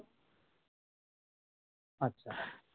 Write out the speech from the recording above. আচ্ছা